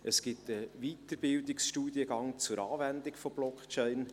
Es gibt einen Weiterbildungsstudiengang zur Anwendung von Blockchain.